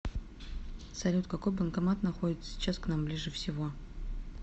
салют какой банкомат находится сейчас к нам ближе всего